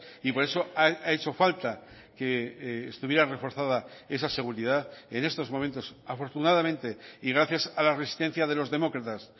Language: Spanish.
y por eso ha hecho falta que estuviera reforzada esa seguridad en estos momentos afortunadamente y gracias a la resistencia de los demócratas